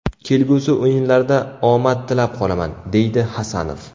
Kelgusi o‘yinlarda omad tilab qolaman”, deydi Hasanov.